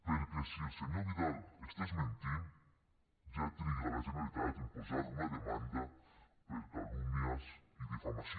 perquè si el senyor vidal estigués mentint ja triga la generalitat en posar una demanda per calúmnies i difamació